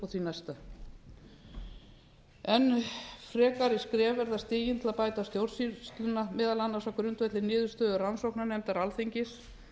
því næsta enn frekari skref verða stigin til að bæta stjórnsýsluna meðal annars á grundvelli niðurstöðu rannsóknarnefndar alþingis